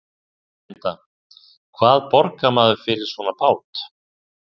Linda: Hvað borgar maður fyrir svona bát?